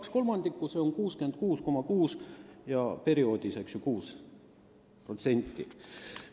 Kaks kolmandikku, see on 66,6%.